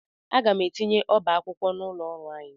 Aga m etinye ọba akwụkwọ n'ụlọ ọrụ anyị.